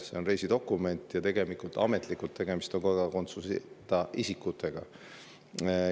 See on reisidokument ja ametlikult on tegemist kodakondsuseta isikutega.